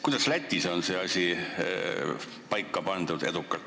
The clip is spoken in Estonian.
Kuidas on Lätis see asi edukalt paika pandud?